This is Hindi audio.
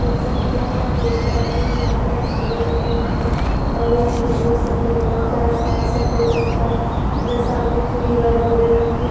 जैसाकी मै यहाँ देखपारही हू यहाँ पर झुले लगे हुए है। और यहाँ निले सफेद रंग का आसमान सफेद रंग का जो सामने की दिवार भुरे रंग कि--